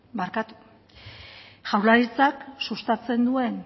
jaurlaritzak sustatzen duen